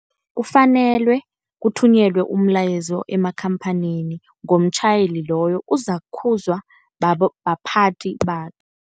Kufanelwe kuthunyelwa umlayezo emakhamphanini ngomtjhayeli loyo, uzakukhuzwa baphathi